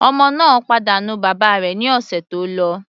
Ọmọ náà pàdánù bàbá rẹ̀ ní ọ̀sẹ̀ tó lọ.